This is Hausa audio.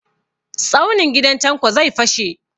Tsaunin gidan Tanko zai fashe.